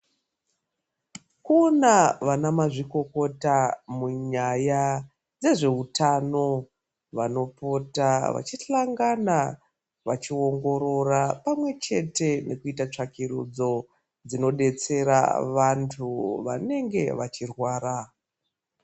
Kuna vana mazvikokota munyaya dzezveutano vanopota vachihlangana vachiongorora pamwe chete nekuita tsvakirudzo dzinodetsera vantu vanenge vachirwara.